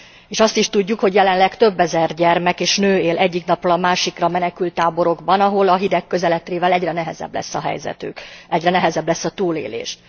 És azt is tudjuk, hogy jelenleg több ezer gyermek és nő él egyik napról a másikra menekülttáborokban, ahol a hideg közeledtével egyre nehezebb lesz a helyzetük, egyre nehezebb lesz a túlélés.